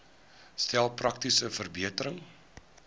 stel praktiese verbeterings